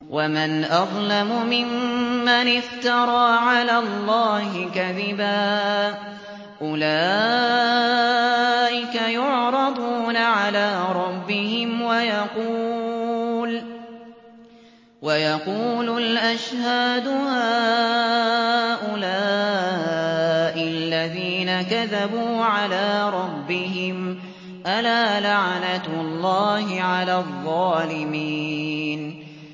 وَمَنْ أَظْلَمُ مِمَّنِ افْتَرَىٰ عَلَى اللَّهِ كَذِبًا ۚ أُولَٰئِكَ يُعْرَضُونَ عَلَىٰ رَبِّهِمْ وَيَقُولُ الْأَشْهَادُ هَٰؤُلَاءِ الَّذِينَ كَذَبُوا عَلَىٰ رَبِّهِمْ ۚ أَلَا لَعْنَةُ اللَّهِ عَلَى الظَّالِمِينَ